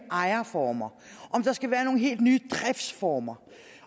ejerformer om der skal være nogle helt nye driftsformer